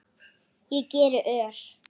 Ég geri ör